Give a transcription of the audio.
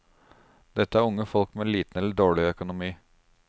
Dette er unge folk med liten eller dårlig økonomi.